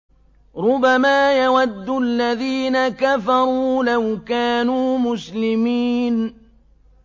رُّبَمَا يَوَدُّ الَّذِينَ كَفَرُوا لَوْ كَانُوا مُسْلِمِينَ